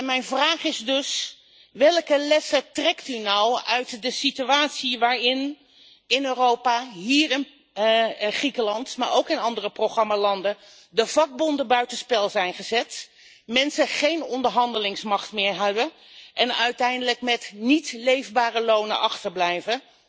Mijn vraag is dus welke lessen trekt u nou uit de situatie in Europa waarin in Griekenland, maar ook in andere programmalanden, de vakbonden buitenspel zijn gezet, mensen geen onderhandelingsmacht meer hebben en uiteindelijk met niet leefbare lonen achterblijven?